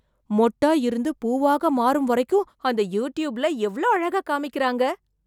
மொட்டா இருந்து பூவாக மாறும் வரைக்கும் அந்த யூட்யூப்புல எவ்ளோ அழகா காமிக்கிறாங்க.